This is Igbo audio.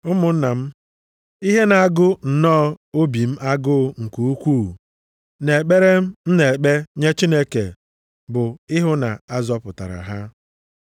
Ụmụnna m, ihe na-agụ nnọọ obi m agụụ nke ukwu na ekpere m na-ekpe nye Chineke bụ ịhụ na a zọpụtara ha.